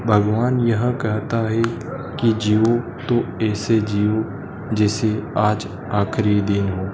भगवान यह कहता है कि जियो तो ऐसे जियो जैसे आज आखिरी दिन हो।